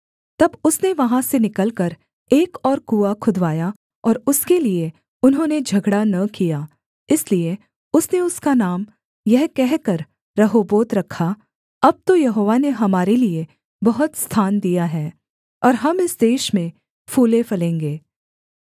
तब उसने वहाँ से निकलकर एक और कुआँ खुदवाया और उसके लिये उन्होंने झगड़ा न किया इसलिए उसने उसका नाम यह कहकर रहोबोत रखा अब तो यहोवा ने हमारे लिये बहुत स्थान दिया है और हम इस देश में फूलेफलेंगे